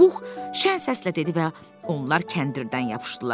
Pux şən səslə dedi və onlar kəndirdən yapışdılar.